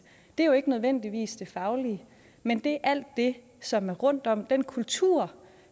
er jo ikke nødvendigvis det faglige men det er alt det som er rundt om den kultur